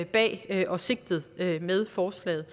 bag og sigtet med forslaget